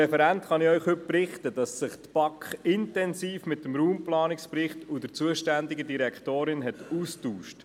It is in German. Die BaK hat sich intensiv mit dem Raumplanungsbericht auseinandergesetzt und sich mit der zuständigen Direktorin ausgetauscht.